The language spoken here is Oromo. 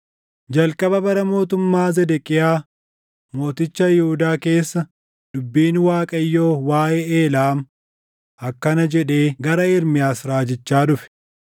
Jalqaba bara mootummaa Zedeqiyaa mooticha Yihuudaa keessa dubbiin Waaqayyoo waaʼee Eelaam akkana jedhee gara Ermiyaas raajichaa dhufe: